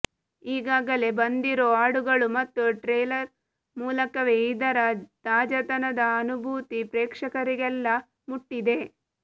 ಈಗಾಗಲೇ ಬಂದಿರೋ ಹಾಡುಗಳು ಮತ್ತು ಟ್ರೇಲರ್ ಮೂಲಕವೇ ಇದರ ತಾಜಾತನದ ಅನುಭೂತಿ ಪ್ರೇಕ್ಷಕರಿಗೆಲ್ಲ ಮುಟ್ಟಿದೆ